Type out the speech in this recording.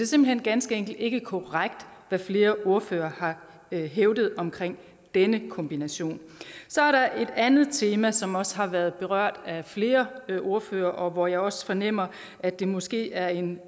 simpelt hen ganske enkelt ikke korrekt hvad flere ordførere har hævdet omkring denne kombination så er der et andet tema som også har været berørt af flere ordførere og hvor jeg også fornemmer at det måske er en